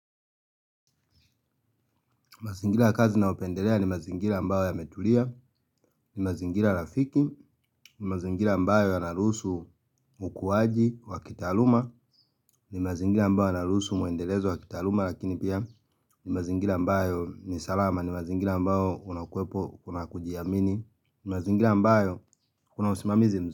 Mazingila kazi nyopendelea ni mazingila ambao yametulia, ni mazingila lafiki, ni mazingila ambao yanaruhusu ukuwaji, wa kitaluma, ni mazingila ambao yanaruhusu muendelezo wa kitaaluma lakini pia ni mazingila ambayo ni salama, ni mazingila ambao unakuwepo kuna kujiamini, ni mazingila ambao kuna usimamizi mzu.